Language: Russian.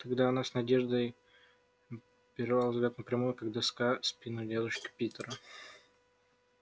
тогда она с надеждой перевела взгляд на прямую как доска спину дядюшки питера